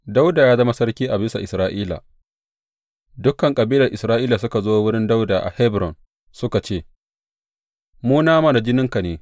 Dawuda ya zama sarki a bisa Isra’ila Dukan kabilar Isra’ila suka zo wurin Dawuda a Hebron suka ce, Mu nama da jininka ne.